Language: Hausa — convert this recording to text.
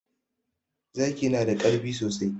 Zaki na da ƙarfi sosai.